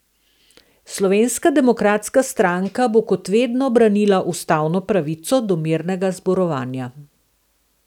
Slovenska demokratska stranka bo kot vedno branila ustavno pravico do mirnega zborovanja.